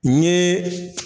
N ɲeee.